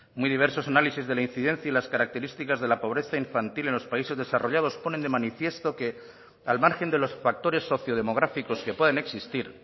muy diversos análisis de la incidencia y las características de la pobreza infantil en los países desarrollados ponen de manifiesto que al margen de los factores sociodemográficos que puedan existir